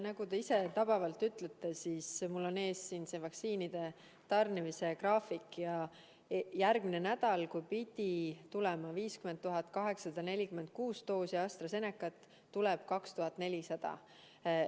Nagu te ise õigesti ütlesite: mul on siin ees vaktsiinide tarnimise graafik ja järgmine nädal, kui pidi tulema 50 846 doosi AstraZenecat, tuleb 2400.